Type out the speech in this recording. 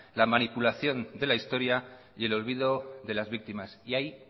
la manipulación de la historia y el olvido de las víctimas y hay